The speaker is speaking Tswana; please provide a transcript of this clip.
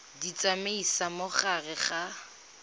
di tsamaisa mo gare ga